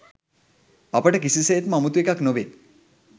අපට කිසිසේත්ම අමුතු එකක් නොවේ